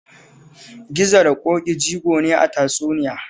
Gizo da Ƙoƙi jigo ne a tatsuniya